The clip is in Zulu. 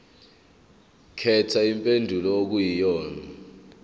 khetha impendulo okuyiyona